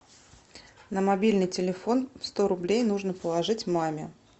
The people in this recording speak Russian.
на мобильный телефон сто рублей нужно положить маме